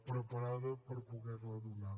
preparats per poder la donar